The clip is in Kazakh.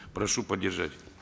прошу поддержать